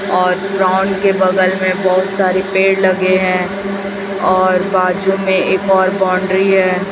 और ग्राउंड के बगल में बहुत सारे पेड़ लगे हैं और बाजू में एक और बाउंड्री है।